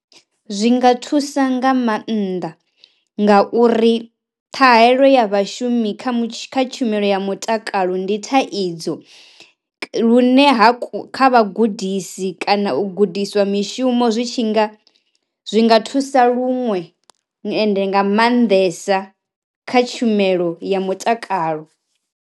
Zwi nga thusa nga mannḓa ngauri ṱhahelelo ya vhashumi kha tshumelo ya mutakalo ndi thaidzo lune ha kha vha gudisi kana u gudiswa mishumo zwi tshi nga zwi nga thusa luṅwe ende nga maanḓesa kha tshumelo ya mutakalo.